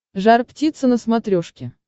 жар птица на смотрешке